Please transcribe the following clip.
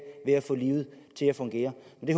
ved at få livet til at fungere